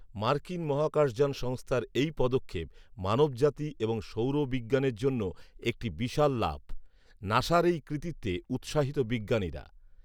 মার্কিন মহাকাশযান সংস্থার এই পদক্ষেপ মানবজাতি এবং সৌর বিজ্ঞানের জন্য একটি বিশাল লাফ৷ নাসার এই কৃতিত্বে উৎসাহিত বিজ্ঞানীরা৷